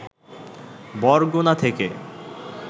বরগুনা থেকে